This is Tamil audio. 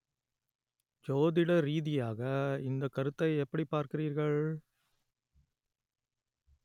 ஜோதிட ரீதியாக இந்தக் கருத்தை எப்படிப் பார்க்கிறீர்கள்